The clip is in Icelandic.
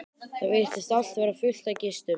Það virtist allt vera fullt af gestum.